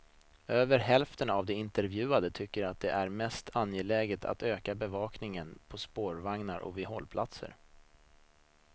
Över hälften av de intervjuade tyckte att det är mest angeläget att öka bevakningen på spårvagnar och vid hållplatser.